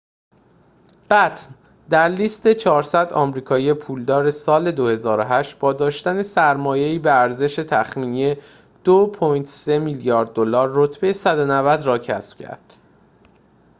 بَتن در لیست ۴۰۰ آمریکایی پولدار سال ۲۰۰۸ با داشتن سرمایه‌ای به ارزش تخمینی ۲.۳ میلیارد دلار رتبه ۱۹۰ را کسب کرد